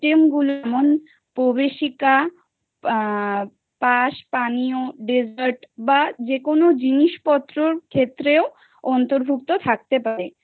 Item গুলো যেমন inaudibel পাশাপাশি dessert বা যেকোনো জিনিসপত্র থেকে অন্তর্ভুক্ত থাকতে পারে